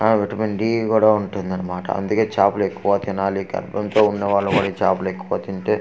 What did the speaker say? ఆ vitamin D కూడా ఉంటుంది అన్నమాట అందుకే చాపలు ఎక్కువగా తినాలి గర్భం తో ఉన్న వాలు కూడా ఈ చాపలు ఎక్కువగా తింటే.